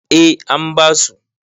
eh an basu